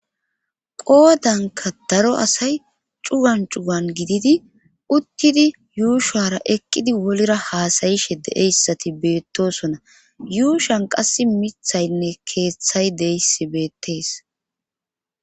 Qoodanka daro asay cugan cugan gididi uttidi yuushara eqqidi wolira haasayishe de7eyssati beettosona yuushan qas mithaynne keeththay deyssi beettees.